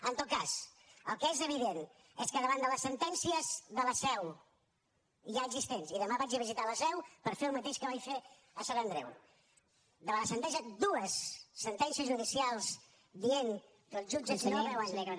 en tot cas el que és evident és que davant de les sentències de la seu ja existents i demà vaig a visitar la seu per fer el mateix que vaig fer a sant andreu davant de dues sentències judicials dient que els jutges no veuen